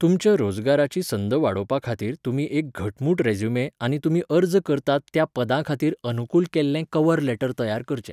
तुमच्या रोजगाराची संद वाडोवपा खातीर तुमी एक घटमूट रेझ्युमे आनी तुमी अर्ज करतात त्या पदां खातीर अनुकूल केल्लें कव्हर लेटर तयार करचें.